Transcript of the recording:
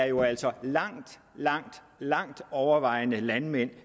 jo altså langt langt langt overvejende er landmænd